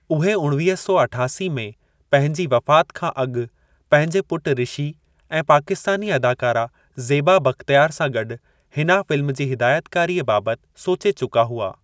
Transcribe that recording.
उहे उणवीह सौ अठासी में पंहिंजी वफ़ात खां अॻु पंहिंजे पुट ऋषि ऐं पाकिस्तानी अदाकारा ज़ेबा बख़्तियारु सां गॾु हिना फ़िल्म जी हिदायतकारीअ बाबति सोचे चुका हुआ।